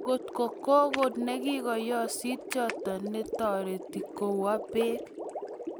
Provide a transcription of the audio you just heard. Kiyokto kogo nekikoyosit choto netoreti kowo beek